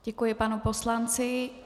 Děkuji panu poslanci.